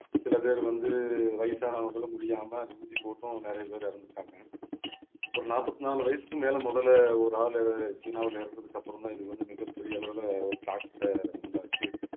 சில பேர் வந்து வயசானவங்களும் முடியாம ஊசி போட்டும் நிறைய பேர் இறந்துட்டாங்க ஒரு நாற்பத்து நாலு வயசுக்கு மேல முதல்ல ஒரு ஆளு சீனாவுல இறந்ததுக்கு அப்புறம்தான் இதுக்கு வந்து மிகப்பெரிய அளவுல ஒரு தாக்கத்தை உண்டாச்சு